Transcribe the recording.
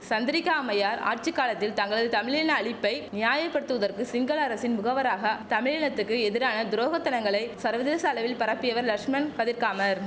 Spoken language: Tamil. சந்திரிகா அம்மையார் ஆட்சி காலத்தில் தங்களது தமிழின அழிப்பை நியாய படுத்துவதற்கு சிங்கள அரசின் முகவராக தமிழினத்துக்கு எதிரான துரோகத்தனங்களை சர்வதேச அளவில் பரப்பியவர் லஷ்மன் கதிர்காமர்